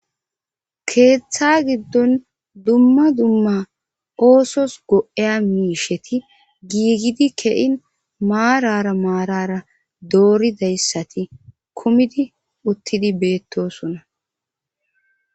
keeththa giddon dumma dumma oosos go7eya miisheti giigidi kein maarara maarara dooridayssati kumidi uttidi beettosona